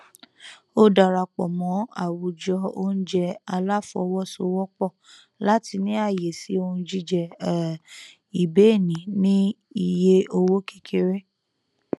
ó darapọ mọ àwùjọ oúnjẹ aláfọwọsowọpọ láti ní ààyè sí ohun jíjẹ um ìbéènì ní iye owó kékeré